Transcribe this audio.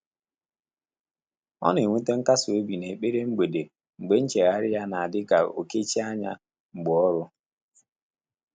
Ọ́ nà-ènwétá nkàsị́ óbí n’ékpèré mgbèdé mgbè nchéghárị́ yá nà-ádị́ kà ó kéchíé ányá mgbè ọ́rụ́.